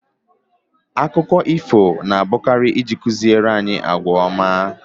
Akụkọ ifo na abụkari iji ịkụziri anyị àgwà ọma